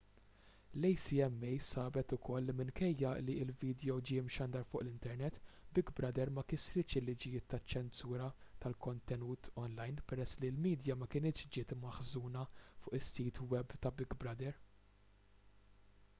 l-acma sabet ukoll li minkejja li l-vidjo ġie mxandar fuq l-internet big brother ma kisritx il-liġijiet taċ-ċensura tal-kontenut onlajn peress li l-midja ma kinitx ġiet maħżuna fuq is-sit web ta' big brother